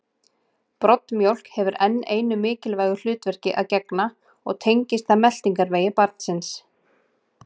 Broddmjólk hefur enn einu mikilvægu hlutverki að gegna og tengist það meltingarvegi barnsins.